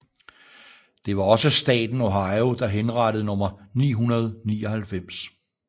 Det var også staten Ohio der henrettede nummer 999